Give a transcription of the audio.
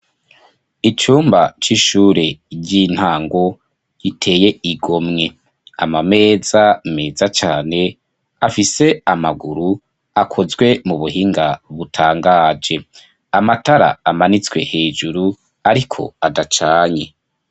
Icumba c'ishure ry'intango iteye igo mwe amameza meza cane afise amaguru akozwe mu buhinga butangaje amatara amanitswe hejuru, ariko adacanye.